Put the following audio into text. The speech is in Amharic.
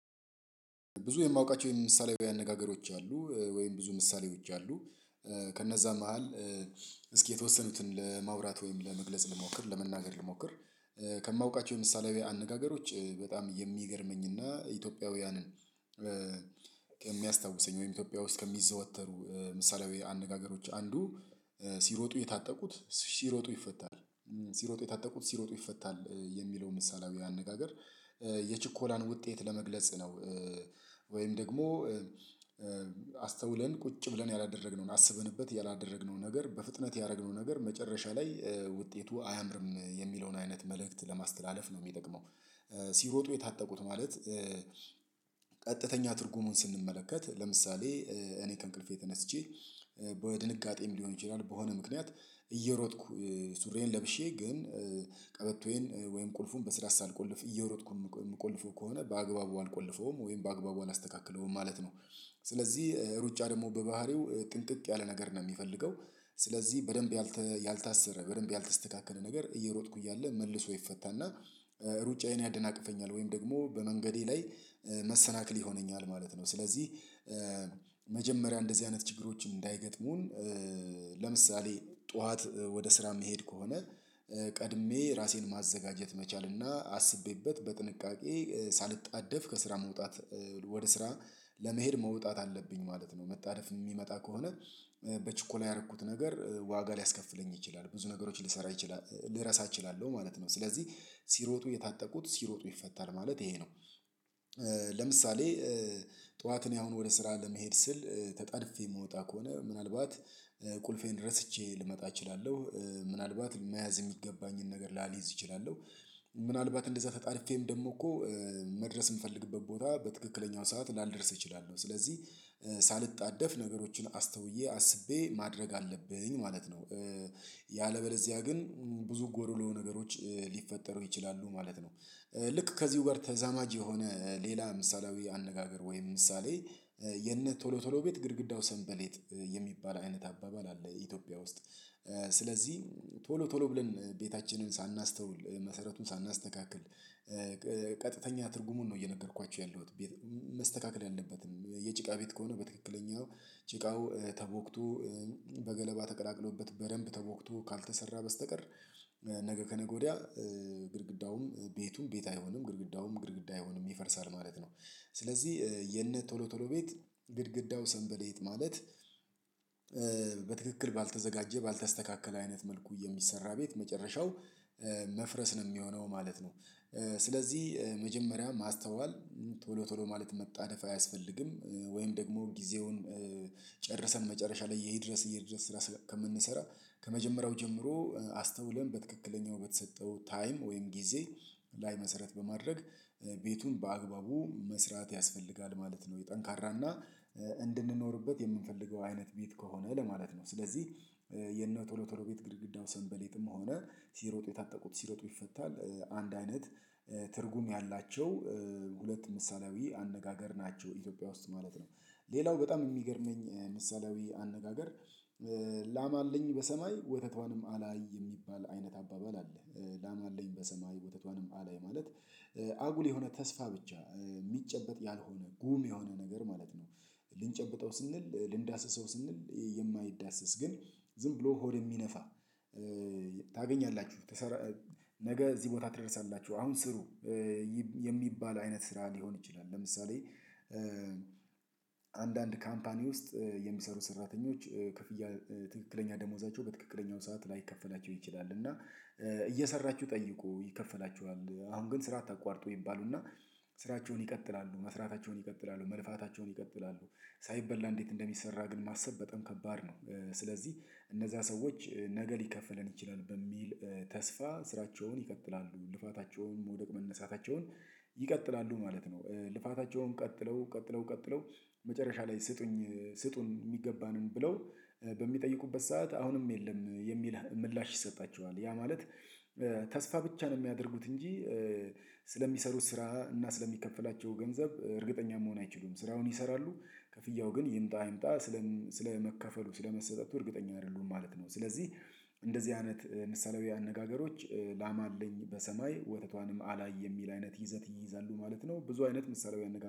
ብዙ የማውቃቸው የም ምሳሌያዊ አነጋገሮች አሉ፤ ወይም ብዙ ምሳሌዎች አሉ። ከነዛ መሃል እስኪ የተወሰኑትን ለማውራት ወይም ለመግለጽ ልሞክር፤ ለመናገር ልሞክር። ብዙ የማውቃቸው የም ምሳሌያዊ አነጋገሮች አሉ፤ ወይም ብዙ ምሳሌዎች አሉ። ከነዛ መሃል እስኪ የተወሰኑትን ለማውራት ወይም ለመግለጽ ልሞክር፤ ለመናገር ልሞክር። ከሚያስታውሰኝ ወይም ኢትዮጵያ ውስጥ ከሚዘወተሩ ምሳሌያዊ አነጋገሮች አንዱ ሲሮጡ የታጠቁት ሲሮጡ ይፈታል ሲሮጡ የታጠቁት ሲሮጡ ይፈታል። የሚለው ምሳሌያዊ አነጋገር የችኮላን ውጤት ለመግለጽ ነው። ወይም ደግሞ አስተውለን ቁጭ ብለን ያላደረግነውን አስበንበት ያላደረግነው ነገር በፍጥነት ያረግነው ነገር መጨረሻ ላይ ውጤቱ አያምርም የሚለውን አይነት መልክት ለማስተላለፍ ነው የሚጠቅመው። ሲሮጡ የታጠቁት ማለት ቀጥተኛ ትርጉሙን ስንመለከት፤ ለምሳሌ እኔ ከእንቅልፌ ተነስቼ በድንጋጤም ሊሆን ይችላል፤ በሆነ ምክንያት እየሮጥኩ ሱሪዬን ለብሼ ግን ቀበቶዬን ወይም ቁልፉን በስርዓት ሳልቆልፍ እየሮጥኩ የምቆልፈው ከሆነ በአግባቡ አልቆልፈውም፤ ወይም በአግባቡ አላስተካክለውም ማለት ነው። ስለዚህ ሩጫ ደግሞ በባህሪው ጥንቅቅ ያለ ነገር ነው የሚገልገው። ስለዚህ በደንብ ያልተ ያልታሰረ፣ በደንብ ያልተስተካከለ ነገር እየሮጥኩ እያለ መልሶ ይፈታና ሩጫዬን ያደናቅፈኛል። ወይም ደግሞ በመንገዴ ላይ መሰናክል ይሆነኛል ማለት ነው። ስለዚህ መጀመሪያ እንደዚህ አይነት ችግሮች እንዳይገጥሙን፤ ለምሳሌ ጠዋት ወደስራ የምሄድ ከሆነ ቀድሜ ራሴን ማዘጋጀት መቻልና አስቤበት በጥንቃቄ ሳልጣደፍ ከስራ መውጣት፤ ወደስራ ለመሄድ መውጣት አለብኝ ማለት ነው። መጣደፍ ሚመጣ ከሆነ በችኮላ ያረኩት ነገር ዋጋ ሊያስከፍለኝ ይችላል። ብዙ ነገሮች ሊሰራ ይችላ ልረሳ እችላለው ማለት ነው። ስለዚህ ሲሮጡ የታጠቁት ሲሮጡ ይፈታል ማለት ይሄ ነው። ለምሳሌ ጠዋት እኔ አሁን ወደስራ ለመሄድ ስል፤ ተጣድፌ የምወጣ ከሆነ ምናልባት ቁልፌን ረስቼ ልመጣ እችላለው። ምናልባት መያዝ የሚገባኝን ነገር ላሊዝ እችላለሁ። ምናልባት እንደዛ ተጣድፌም ደሞ እኮ መድረስ ምፈልግበት ቦታ በትክክለኛው ሰዓት ላልደርስ እችላለሁ። ስለዚህ ሳልጣደፍ ነገሮችን አስተውዬ አስቤ ማድረግ አለብኝ ማለት ነው። ያለበለዚያ ግን ብዙ ጎዶሎ ነገሮች ሊፈጠሩ ይችላሉ ማለት ነው። ልክ ከዚሁ ጋር ተዛማጅ የሆነ ሌላ ምሳሌያዊ አነጋገር ወይም ምሳሌ፤ የነቶሎቶሎ ቤት ግድግዳው ሰንበሌጥ የሚባል አይነት አባባል አለ ኢትዮጵያ ውስጥ። ስለዚህ ቶሎቶሎ ብለን ቤታችንን ሳናስተውል፣ መሰረቱን ሳናስተካክል፣ ቀጥተኛ ትርጉሙን ነው እየነገርኳችሁ ያለሁት። መስተካከል ያለበትን የጭቃ ቤት ከሆነ በትክክለኛው ጭቃው ተቦክቶ በገለባ ተቀላቅሎበት በደንብ ተቦክቶ ካልተሰራ በስተቀር ነገ ከነገ ወዲያ ግድግዳውም ቤቱም ቤት አይሆንም፤ ግድግዳውም ግድግዳ አይሆንም ይፈርሳል ማለት ነው። ስለዚህ የነቶሎቶሎ ቤት ግድግዳው ሰንበሌጥ ማለት በትክክል ባልተዘጋጀ ባልተስተካከለ አይነት መልኩ የሚሰራ ቤት መጨረሻው፤ መፍረስ ነው የሚሆነው ማለት ነው። ስለዚህ መጀመሪያ ማስተዋል፤ ቶሎቶሎ ማለት መጣደፍ አያስፈልግም። ወይም ደግሞ ጊዜውን ጨርሰን መጨርሻ ላይ የይድረስ የይድረስ ስራ ከምንሰራ፤ ከመጀመሪያው ጀምሮ አስተውለን በትክክለኛው በተሰጠው ታይም ወይም ጊዜ ላይ መሰረት በማድረግ ቤቱን በአግባቡ መስራት ያስፈልጋል ማለት ነው። ጠንካራና እንድንኖርበት የምንፈልገው አይነት ቤት ከሆነ ለማለት ነው። ስለዚህ የነቶሎቶሎ ቤት ግድግዳው ሰንበሌጥም ሆነ፤ ሲሮጡ የታጠቁት ሲሮጡ ይፈታል አንድ አይነት ትርጉም ያላቸው ሁለት ምሳሌያዊ አነጋገር ናቸው ኢትዮጵያ ውስጥ ማለት ነው። ሌላው በጣም የሚገርመኝ ምሳሌያዊ አነጋገር ላም አለኝ በሰማይ ወተቷንም አላይ የሚባል አይነት አባባል አለ። ላም አለኝ በሰማይ ወተቷንም አላይ ማለት አጉል የሆነ ተስፋ ብቻ ሚጨበጥ ያልሆነ ጉም የሆነ ነገር ማለት ነው። ልንጨብጠ ስንል ልንዳስሰው ስንል የማይዳሰስ ግን ዝምብሎ ሆድ የሚነፋ። ታገኛላችሁ ነገ እዚህ ቦታ ትደርሳላችሁ፤ አሁን ስሩ። የሚባል አይነት ስራ ሊሆን ይችላል። ለምሳሌ አንዳንድ ካምፓኒ ውስጥ የሚሰሩ ሰራተኞች ክፍያ ትክክለኛ ደሞዛቸው በትክክልኛው ሰዓት ላይከፈላቸው ይችላል። እና እየሰራችሁ ጠይቁ ይከፈላቹሃል፤ አሁን ግን ስራ አታቋርጡ ይባሉና ስራቸውን ይቀጥላሉ መስራታቸውን ይቀጥላሉ መልፋታቸውን ይቀጥላሉ ሳይበላ እንዴት እንደሚሰራ ግን ማሰብ በጣም ከባድ ነው። ስለዚህ እነዛ ሰዎች ነገ ሊከፈለን ይችላል በሚል ተስፋ ስራቸውን ይቀጥላሉ፤ ልፋታቸውን መውደቅ መነሳታቸውን ይቀጥላሉ ማለት ነው። ልፋታቸውን ቀጥለው ቀጥለው ቀጥለው መጨረሻ ላይ ስጡኝ ስጡን የሚገባንን ብለው በሚጠይቁበት ሰዓት አሁንም የለም የሚል ምላሽ ይሰጣቸዋል። ያማለት ተስፋ ብቻ ነው የሚያደርጉት እንጂ ስለሚሰሩት ስራ እና ስለሚከፈላቸው ገንዘብ እርግጠኛ መሆን አይችሉም። ስራውን ይሰራሉ ክፍያው ግን ይምጣ አይምጣ ስለም ስለመከፍሉ ስለመሰጠቱ እርግጠኛ አይደሉም ማለት ነው። ስለዚህ እንደዚህ አይነት ምሳሌያዊ አነጋገሮች ላም አለኝ በሰማይ ወተቷንም አላይ የሚል አይነት ይዘት ይይዛሉ ማለት ነው። ብዙ አይነት ምሳሌያዊ አነጋ